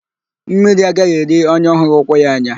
Mmiri agaghị eri onye ọ hụghị ụkwụ ya anya.